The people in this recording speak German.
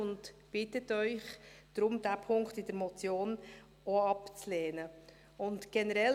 Er bittet Sie deshalb, diesen Punkt der Motion auch abzulehnen, und generell;